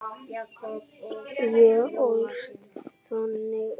Ég ólst þannig upp.